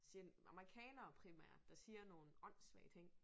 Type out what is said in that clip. Siger amerikanere primært der siger nogle åndssvage ting